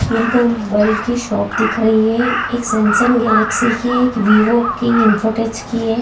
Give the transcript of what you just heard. ये तो मोबईल की शॉप दिख रही है एक सैमसंग गैलेक्सी की वीवो की इंफोटेक की है |